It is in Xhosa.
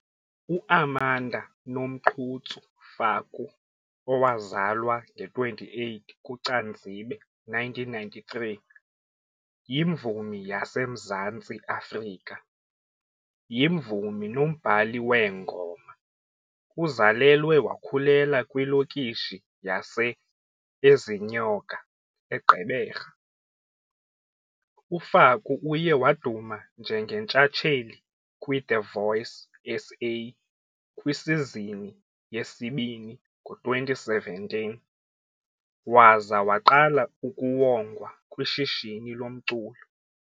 U-Amanda Nomqhutsu Faku owazalwa nge-28 kuCanzibe, 1993 yimvumi yaseMzantsi Afrika, yimvumi nombhali weengoma. Uzalelwe wakhulela kwilokishi yase-Ezinyoka, eGqeberha, uFaku uye waduma njengentshatsheli kwiThe Voice SA kwisizini yesi-2 ngo-2017 waza waqala ukuwongwa kwishishini lomculo.